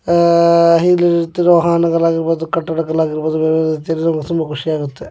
ಆಹ್ಹ್ ಇಲ್ಲಿ ನಿಂತಿರುವ ವಾಹನಗಳಾಗಿರಬಹುದು ತುಂಬಾ ಖುಷಿ ಆಗುತ್ತೆ.